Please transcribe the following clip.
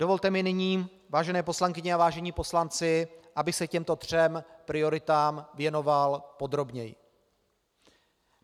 Dovolte mi nyní, vážené poslankyně a vážení poslanci, abych se těmto třem prioritám věnoval podrobněji.